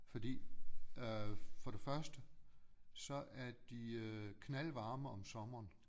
Fordi øh for det første så er de øh knaldvarme om sommeren